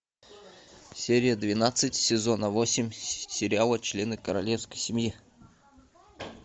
серия двенадцать сезона восемь сериала члены королевской семьи